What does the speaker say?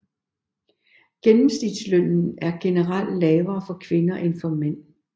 Gennemsnitslønnen er generelt lavere for kvinder end for mænd